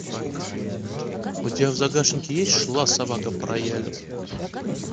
у тебя в загашнике есть шла собака по роялю